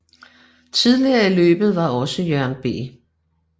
Tidligere i løbet var også Jørgen B